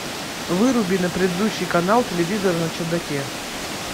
выруби на предыдущий канал телевизора на чердаке